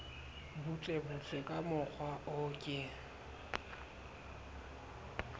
butlebutle ka mokgwa o ke